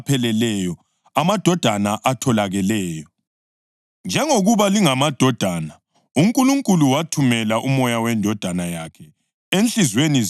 Njengokuba lingamadodana, uNkulunkulu wathumela uMoya weNdodana yakhe enhliziyweni zenu, omemezayo usithi, “ Abha, Baba.”